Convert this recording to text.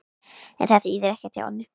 En þetta þýðir ekkert hjá ömmu.